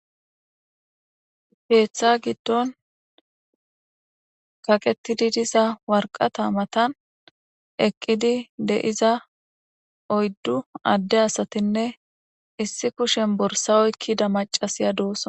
Heeththa giddon kaqetidi disa warqata matan eqqidi deiza oyddu adde asatinne issi kushen borsawoykkida macasiya doosan.